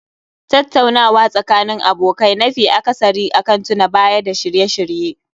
Tattaunawa Tsakanin abokai nafi akasari akan tuna Baya da shirye-shirye